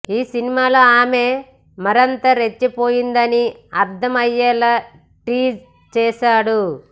ఈ సినిమాలో ఆమె మరింత రెచ్చిపోయిందని అర్దం అయ్యేలా టీజ్ చేసాడు